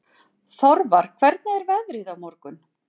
Þorvar, hvernig er veðrið á morgun?